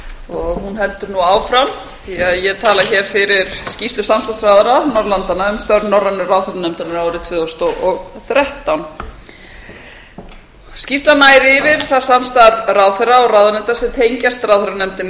hún heldur nú áfram því ég tala hér fyrir skýrslu samstarfsráðherra norðurlandanna um störf norrænu ráðherranefndarinnar árið tvö þúsund og þrettán skýrslan nær yfir það samstarf ráðherra og ráðuneyta sem tengjast ráðherranefndinni